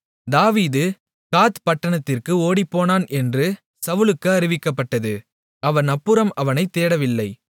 தாவீது காத் பட்டணத்திற்கு ஓடிப்போனான் என்று சவுலுக்கு அறிவிக்கப்பட்டபோது அவன் அப்புறம் அவனைத் தேடவில்லை